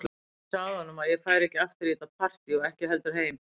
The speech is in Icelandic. Ég sagði honum að ég færi ekki aftur í þetta partí og ekki heldur heim.